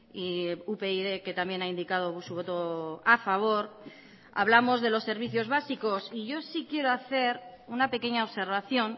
y upyd que también ha indicado su voto a favor hablamos de los servicios básicos y yo sí quiero hacer una pequeña observación